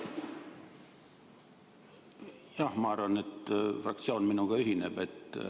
Jah, ma arvan, et fraktsioon minuga ühineb.